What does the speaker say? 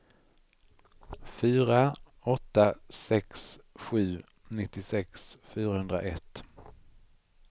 fyra åtta sex sju nittiosex fyrahundraett